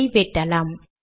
இதை வெட்டலாம்